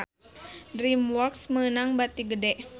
DreamWorks meunang bati gede